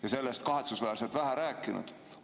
Nendest oleme kahetsusväärselt vähe rääkinud.